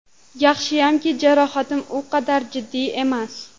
Yaxshiyamki, jarohatim u qadar jiddiy emas.